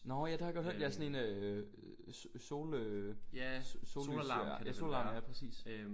Nåh ja det har jeg godt hørt ja sådan en øh sol øh sollys ja solalarm ja præcis